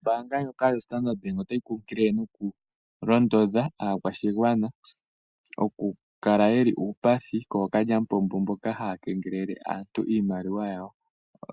Ombaanga ya Standard bank otayi nkunkilile nokulondodha aakwashigwana oku kala yeli uupathi kookalyamupombo mboka haya kengelele aantu iimaliwa yawo.